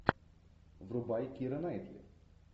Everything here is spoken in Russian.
врубай кира найтли